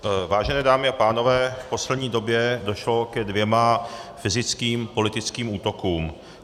Vážené dámy a pánové, v poslední době došlo ke dvěma fyzickým politickým útokům.